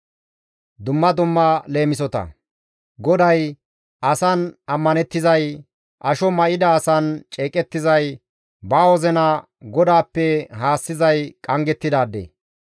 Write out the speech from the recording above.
GODAY, «Asan ammanettizay, asho may7ida asan ceeqettizay, ba wozina GODAAPPE haassizay qanggettidaade.